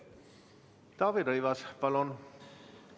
Taavi Rõivas, palun!